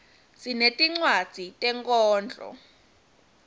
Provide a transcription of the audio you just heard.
sinetincwadzi tenkhondlo